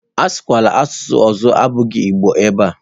Asụkwala asụsụ ọzọ ewezuga Igbo ebe a!